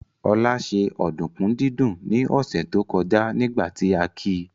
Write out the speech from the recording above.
Olá ṣe ọ̀dùnkún dídún ní ọ̀sẹ̀ tó kọjá nígbà tí a ki